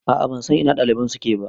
A'a ban san ina ɗaliban suke ba